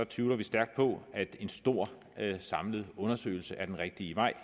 tvivler vi stærkt på at en stor samlet undersøgelse er den rigtige vej